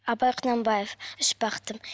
абай құнанбаев үш бақытым